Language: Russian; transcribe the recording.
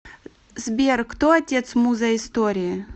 сбер кто отец муза истории